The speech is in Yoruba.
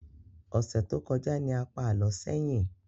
Ọsẹ tó kọjá ní a pá alọ sẹyin